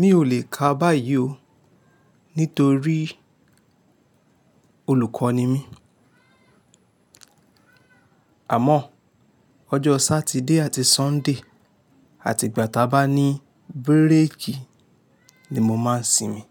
Mi ò lè kà báyìí ó, nítorí olùkọ́ ni mí. Àmọ́ ọjọ́ Saturday àti Sunday àti ìgbà ta bá ní bírèèkì ni mo máa ń sinmi.